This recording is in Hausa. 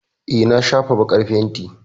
Eh, na shafa baƙar fenti.